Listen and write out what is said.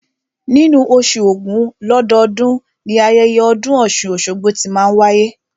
Nínú oṣù ògún lọ́dọọ́dun, ni ayẹyẹ ọdún ọ̀ṣun-oṣogbo tí máa n wáyé